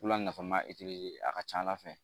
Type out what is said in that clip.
Wula nafa eretiri a ka c'ala fɛ